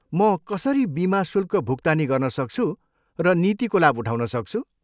म कसरी बिमा शुल्क भुक्तानी गर्न सक्छु र नीतिको लाभ उठाउन सक्छु?